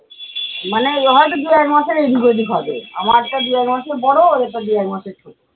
মানে এ হয়তো দু এক মাসের এইদিক ঐদিক হবে। আমার তা দু-এক মাসের বড়ো ওদের তা দু-এক মাসের ছোট।